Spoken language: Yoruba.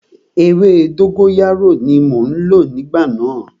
Ewé dógóyárò ní mo lò ní ìgbà náà.